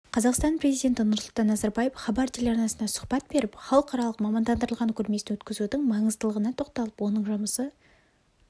қазақстан президенті нұрсұлтан назарбаев хабар телеарнасына сұхбат беріп халықаралық мамандандырылған көрмесін өткізудің маңыздылығына тоқталып оның жұмысы